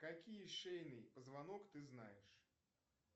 какие шейные позвонок ты знаешь